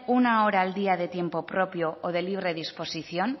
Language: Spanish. una hora al día de tiempo propio o de libre disposición